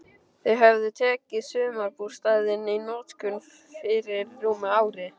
Þau höfðu tekið sumarbústaðinn í notkun fyrir rúmu ári.